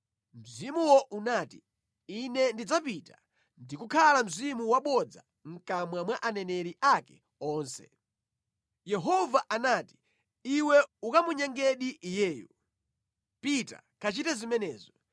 Mzimuwo unati, “Ine ndidzapita ndi kukhala mzimu wabodza mʼkamwa mwa aneneri ake onse!” Yehova anati, “ ‘Iwe ukamunyengadi iyeyo. Pita kachite zimenezo.’